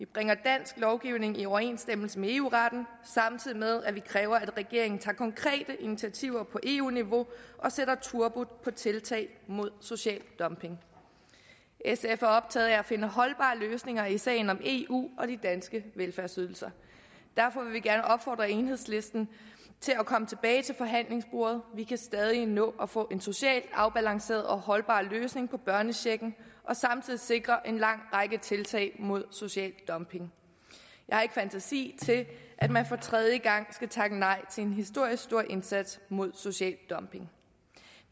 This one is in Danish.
bringer dansk lovgivning i overensstemmelse med eu retten samtidig med at man kræver at regeringen tager konkrete initiativer på eu niveau og sætter turbo på tiltag mod social dumping sf er optaget af at finde holdbare løsninger i sagen om eu og de danske velfærdsydelser derfor vil vi gerne opfordre enhedslisten til at komme tilbage til forhandlingsbordet vi kan stadig nå at få en socialt afbalanceret og holdbar løsning i børnechecken og samtidig sikre en lang række tiltag mod social dumping jeg har ikke fantasi til at forestille at man for tredje gang skal takke nej til en historisk stor indsats mod social dumping